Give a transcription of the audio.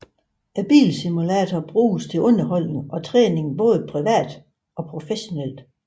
Bilsimulatorer bruges til underholdning og træning både privat og professionelt